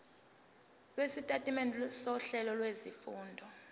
lwesitatimende sohlelo lwezifundo